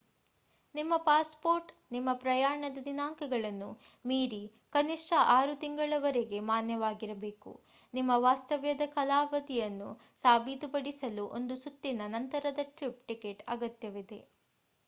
ನಿಮ್ಮ ಪಾಸ್‌ಪೋರ್ಟ್ ನಿಮ್ಮ ಪ್ರಯಾಣದ ದಿನಾಂಕಗಳನ್ನು ಮೀರಿ ಕನಿಷ್ಠ 6 ತಿಂಗಳವರೆಗೆ ಮಾನ್ಯವಾಗಿರಬೇಕು. ನಿಮ್ಮ ವಾಸ್ತವ್ಯದ ಕಾಲಾವಧಿಯನ್ನು ಸಾಬೀತುಪಡಿಸಲು ಒಂದು ಸುತ್ತಿನ / ನಂತರದ ಟ್ರಿಪ್ ಟಿಕೆಟ್ ಅಗತ್ಯವಿದೆ